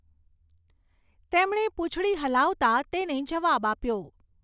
તેમણે પૂંછડી હલાવતાં તેને જવાબ આપ્યો.